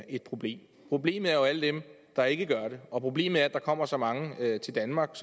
et problem problemet er jo alle dem der ikke gør det og problemet er at der kommer så mange til danmark